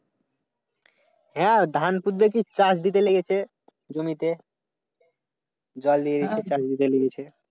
হ্যাঁ ধান পুতবে কি চাষ দিতে লেগেছে জমিতে। জল দিয়ে দিছে কাল বিকালে দিছে।